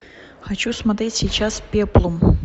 хочу смотреть сейчас пеплум